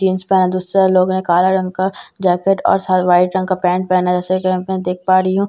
jeans pant दूसरा लोग का काला रंग का जैकेट और शायद वाइट रंग का पेंट पहना है जैसे कि पे मैं देख पा रही हूँ --